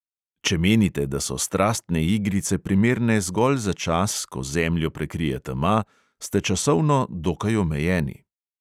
Če menite, da so strastne igrice primerne zgolj za čas, ko zemljo prekrije tema, ste časovno dokaj omejeni.